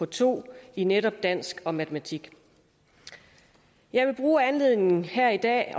to i netop dansk og matematik jeg vil bruge anledningen her i dag